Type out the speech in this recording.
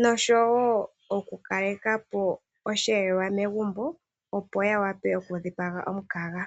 noshowoo okukalekapo oshiyelelwa megumbo opo yawape okukandulapo omukaga.